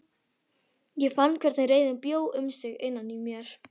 Ég fann hvernig reiðin bjó um sig innan í mér.